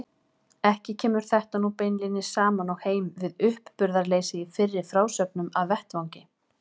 Ekki kemur þetta nú beinlínis saman og heim við uppburðarleysið í fyrri frásögnum af vettvangi.